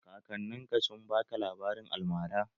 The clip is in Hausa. Kakannin ka sun baka labarin almara?